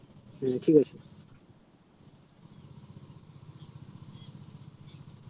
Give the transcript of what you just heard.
ঠিক আছে